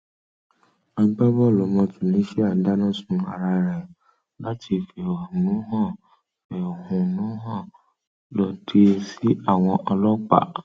agbábọọlù ọmọ tunisia dáná sun ara rẹ láti fẹhónúhàn fẹhónúhàn lòdì sí àwọn ọlọpàá